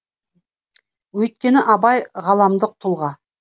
өйткені абай ғаламдық тұлға